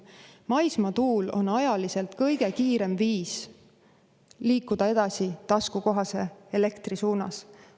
Maismaatuule on ajaliselt kõige kiirem viis liikuda edasi taskukohase elektri suunas.